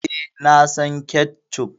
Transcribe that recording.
E, na son ketchup.